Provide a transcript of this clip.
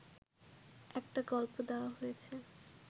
একটা গল্প দেওয়া হয়েছে